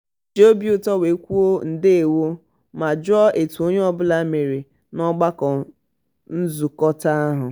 o ji obi ụtọ wee kwuo "ndewo" ma jụọ etu onye ọbụla mere n'ọgbakọ nzukọta ahụ. um